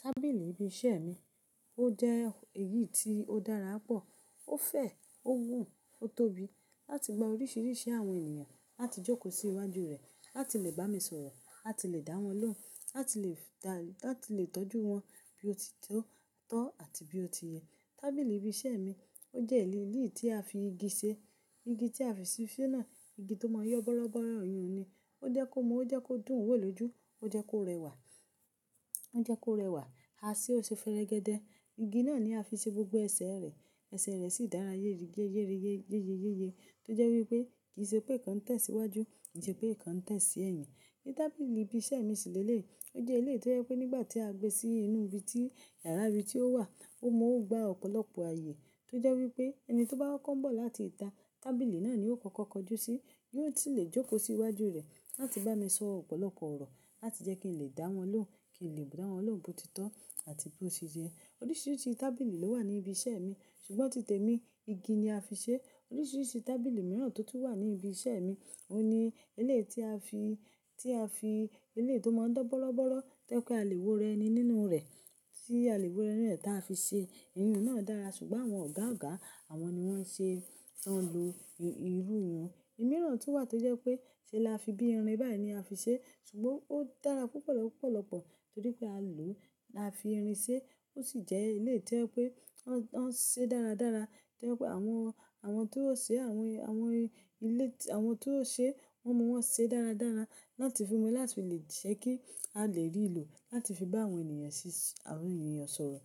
Tábìlì ibi iṣẹ́ mi, ó jẹ́ èyí tí ó dára pọ̀. Ó fẹ̀, ó wù, ó tóbi láti gba oríṣiríṣi àwọn ènìyàn láti jókòó sí iwájú rẹ̀, láti lè bá mi sọ̀rọ̀, láti lè dá wọn lóhùn, láti lè tọ́jú wọn bí ó ti tọ́ àti bí ó ti yẹ. Tábìlì ibi iṣẹ́ mi ó jẹ́ eléyìí tí a fi igi ṣe. Igi tí a fi ṣe náà, igi tó máa ń yọ bọ́lọ́bọ́lọ́ ìyùn ni. Ó jẹ́ kó mú, ó jẹ́ kó dùn wò lójú, ó jẹ́ kó rẹwà, ó jẹ́ kó rẹwà, a ṣe ó ṣe ferẹgẹdẹ. Igi náà ni a fi ṣe gbogbo ẹsẹ̀ rẹ̀. Ẹsẹ̀ rẹ̀ sì dára yéreyé yéyeyéye tó jẹ́ wí pé kì í ṣe pé ìkan tẹ̀ sí iwájú, kì í ṣe pé ìkan tẹ̀ sí ẹ̀yìn. Ni tábìlì ibi iṣẹ́ mi ṣíléle. Ó jẹ́ ilé tó jẹ́ pé nígbà tí a gbé sí inú ibi tí yàrá ibi tí ó wà, ó mọ́ ó gba ọ̀pọ̀lọpọ̀ ààyè tó jẹ́ wí pé ẹni tí ó bá kọ nbọ̀ láti ìta, tábìlì náà ni ó kọ́kọ́ kọjú sí. Yóò sì lè jókòó sí iwájú rẹ̀ láti bá mi sọ ọ̀pọ̀lọpọ̀ ọ̀rọ̀, láti jẹ́ kí n lè dá wọn lóhùn, kí n lè dawọn lóhùn bó ti tọ́ àti bó ṣe yẹ. Oríṣiríṣi tábìlì ló wà ní ibi iṣẹ́ mi ṣùgbọ́n tite mi, igi ni a fi ṣe. Oríṣiríṣi tábìlì mìíràn tó tún wà ní ibi iṣẹ́ mi, ó ní elé tí a fi, tí a fi ele tó máa ń dán bọ́lọ́bọ́lọ́, tẹ́ pé àlèwó rẹni nínú rẹ̀ tí àlèwó rẹ́nì rẹ̀ tí a fi ṣe. Iyùn náà dára ṣùgbọ́n àwọn ọ̀gá ọ̀gá àwọn ni wọ́n ṣe ń lo irú iyun. I mìíràn tún wà tó jẹ́ pé ṣe láfi bí irin báyìí ni a fi ṣe ṣùgbọ́n ó dára púpọ̀ lọpọ̀lọpọ̀ torí pé a lò, a fi irin ṣe. Ó sì jẹ́ ilé tí ẹ́ pé wọ́n ṣe dáradára tí jẹ pé àwọn, àwọn tí ó ṣe àwọn, àwọn ilé, àwọn tí ó ṣe wọ́n mọ wọn ṣe dáradára láti fi mú láti lè ṣe kí a lè rí ìlò láti fi bá àwọn ènìyàn sì, àwọn ènìyàn sọ̀rọ̀.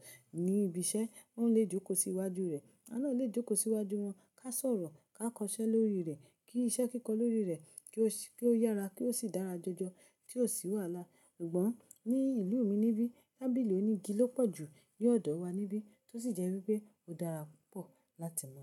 Ní ibi iṣẹ́ wọ́n lè jókòó sí iwájú rẹ̀. Náà lè jókòó sí iwájú wọn ká sọ̀rọ̀, ká kọ iṣẹ́ lórí rẹ̀, kí iṣẹ́ kíkọ lórí rẹ̀, kí ó yára, kí ó sì dára jọjọ tí ó sì wàhálà. Ṣùgbọ́n ní ìlú mi níbí, tábìlì onígi ló pọ̀ jù ní ọ̀dọ̀ wa níbí tó sì jẹ́ wí pé ó dára púpọ̀ láti mọ̀.